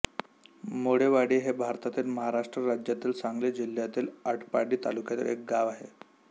माळेवाडी हे भारतातील महाराष्ट्र राज्यातील सांगली जिल्ह्यातील आटपाडी तालुक्यातील एक गाव आहे